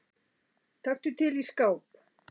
Taktu til í skáp.